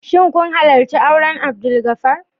Shin kun halarci auren Abdulgafar?